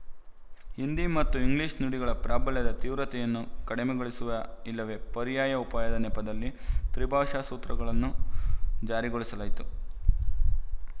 ಹಿಂದಿ ಮತ್ತು ಇಂಗ್ಲಿಶು ನುಡಿಗಳ ಪ್ರಾಬಲ್ಯದ ತೀವ್ರತೆಯನ್ನು ಕಡಿಮೆಗೊಳಿಸುವ ಇಲ್ಲವೇ ಪರ್ಯಾಯ ಉಪಾಯದ ನೆಪದಲ್ಲಿ ತ್ರಿಭಾಷಾ ಸೂತ್ರಗಳನ್ನು ಜಾರಿಗೊಳಿಸಲಾಯ್ತು